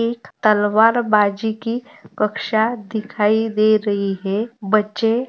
एक तलवार बाजी की कक्षा दिखाई दे रही है बच्चे --